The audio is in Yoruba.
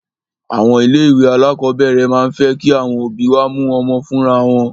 Àwọn ilé ìwé alákọ̀berẹ̀ máà ń fẹ́ kí àwọn òbí wá mú ọmọ wọn fúnra wọn.